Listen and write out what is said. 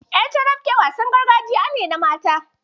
Ƴar carafke wasan gargajiya ne na mata.